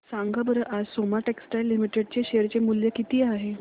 सांगा बरं आज सोमा टेक्सटाइल लिमिटेड चे शेअर चे मूल्य किती आहे